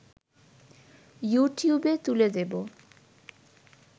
‘ইউটিউবে’ তুলে দেব